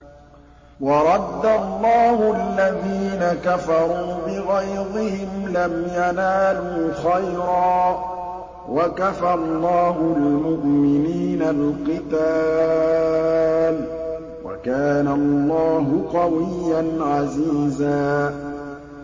وَرَدَّ اللَّهُ الَّذِينَ كَفَرُوا بِغَيْظِهِمْ لَمْ يَنَالُوا خَيْرًا ۚ وَكَفَى اللَّهُ الْمُؤْمِنِينَ الْقِتَالَ ۚ وَكَانَ اللَّهُ قَوِيًّا عَزِيزًا